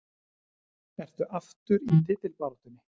Ertu aftur í titilbaráttunni?